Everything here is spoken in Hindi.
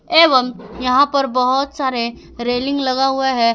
एवं यहां पर बहुत सारे रेलिंग लगा हुआ है।